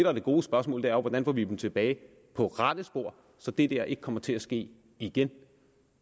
er det gode spørgsmål er jo hvordan får vi dem tilbage på rette spor så det der ikke kommer til at ske igen